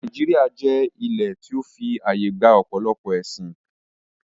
Nàíjíríà jẹ́ ilẹ̀ tí ó fi àyè gba ọ̀pọ̀lọpọ̀ ẹ̀sín